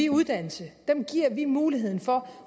uddannelse dem giver vi muligheden for